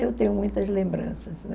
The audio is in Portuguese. Eu tenho muitas lembranças, né?